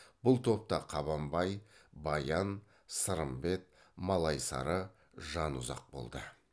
бұл топта қабанбай баян сырымбет малайсары жанұзақ болды